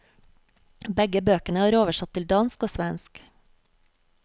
Begge bøkene er oversatt til dansk og svensk.